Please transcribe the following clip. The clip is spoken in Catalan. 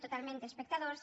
totalment d’espectadors